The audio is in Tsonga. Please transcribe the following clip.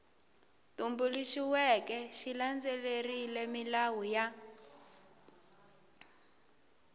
tumbuluxiweke xi landzelerile milawu ya